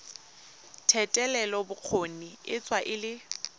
thetelelobokgoni e tsewa e le